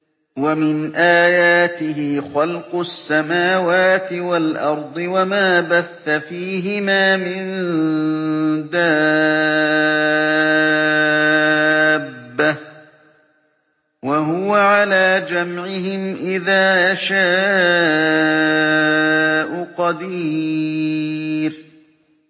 وَمِنْ آيَاتِهِ خَلْقُ السَّمَاوَاتِ وَالْأَرْضِ وَمَا بَثَّ فِيهِمَا مِن دَابَّةٍ ۚ وَهُوَ عَلَىٰ جَمْعِهِمْ إِذَا يَشَاءُ قَدِيرٌ